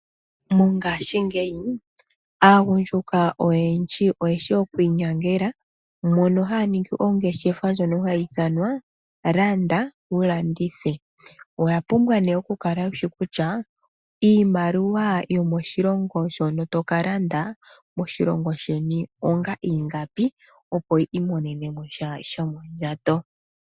Mongaashingeyi aagundjuka oyendji oyeshi okwiinyangela mono haya ningi ongeshefa ndjono hayi ithanwa landa wulandithe. Owapumbwa nee wukale wushi kutya iimaliwa yomoshilongo shono tokalanda moshilongo sheni onga ingapi opo wi imonene mosha shomondjato.